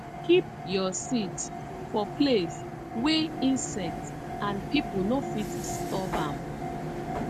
keep your seeds for place wey insect and people no fit disturb am